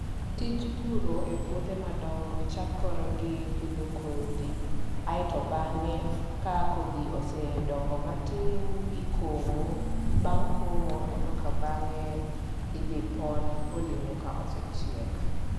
Tij puro e puothe madongo chakore gi pidho kodhi, ae to bang'e, ka kodhi osedongo matin ikomo. Bang' komo ekokabang'e idhi pon olewo ka osechiek.